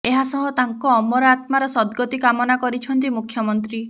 ଏହାସହ ତାଙ୍କ ଅମର ଆତ୍ମାର ସଦ୍ଗତି କାମନା କରିଛନ୍ତି ମୁଖ୍ୟମନ୍ତ୍ରୀ